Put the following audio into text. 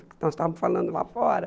Nós estávamos falando lá fora.